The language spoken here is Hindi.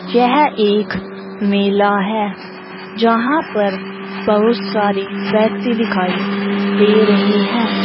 यह एक मेला है जहां पर बहुत सारे व्यक्ति दिखाई दे रहे है।